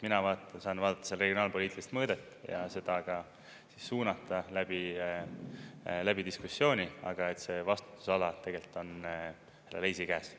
Mina saan vaadata seda regionaalpoliitilist mõõdet ja seda ka suunata läbi diskussiooni, aga see vastutusala tegelikult on Leisi käes.